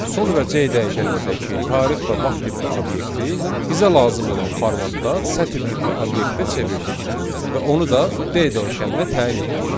Sonra C dəyişənindəki tarix və vaxt tipli obyekti bizə lazım olan formatda sətr tipli obyektə çevirdik və onu da D dəyişəninə təyin etdik.